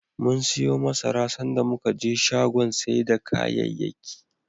Mum siyo masara, sanda muka je shagon sai da kayayyaki.